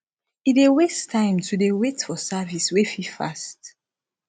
e dey waste time to dey wait for service wey fit fast